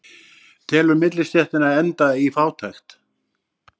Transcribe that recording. Telur millistéttina enda í fátækt